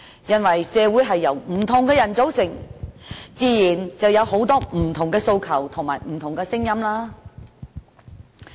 原因是，社會是由不同的人組成，自然有很多不同訴求和聲音。